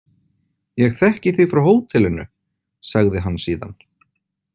Ég þekki þig frá hótelinu, sagði hann síðan.